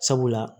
Sabula